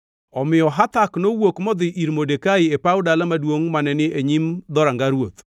Omiyo Hathak nowuok modhi ir Modekai e paw dala maduongʼ mane ni e nyim dhoranga ruoth.